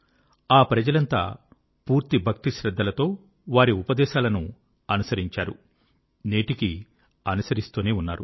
ఆ ప్రజలంతా పూర్తి భక్తి శ్రద్ధలతో వారి ఉపదేశాలను అనుసరించారు నేటికీ అనుసరిస్తూనే ఉన్నారు